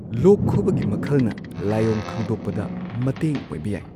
ꯂꯣꯛ ꯈꯨꯕꯒꯤ ꯃꯈꯜꯅ ꯂꯥꯏꯑꯣꯡ ꯈꯪꯗꯣꯛꯄꯗ ꯃꯇꯦꯡ ꯑꯣꯢꯕ ꯌꯥꯏ꯫